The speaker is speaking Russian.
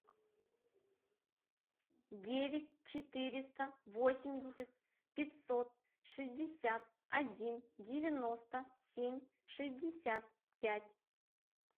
девять четыреста восемьдесят пятьсот шестьдесят один девяносто семь шестьдесят пять